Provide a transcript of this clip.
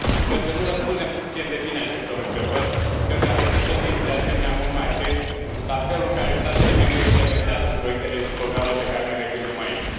Cred că nu răspundem suficient de bine acestor întrebări și cred că ar trebui să fim, de asemenea, mult mai atenți la felul în care statele membre implementează proiectele și programele pe care noi le gândim aici.